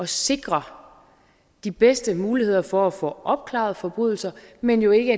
sikre de bedste muligheder for at få opklaret forbrydelser men jo ikke